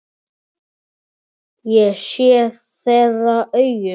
Ég sé þeirra augum.